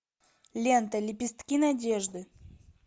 лента лепестки надежды